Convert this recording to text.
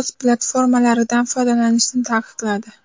o‘z platformalaridan foydalanishni taqiqladi .